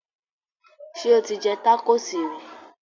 Sẹ́ o ti jẹ tákóòsì rí?